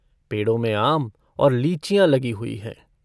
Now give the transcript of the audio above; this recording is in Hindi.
पेड़ों में आम और लीचियाँ लगी हुई हैं।